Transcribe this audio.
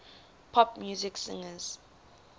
pop music singers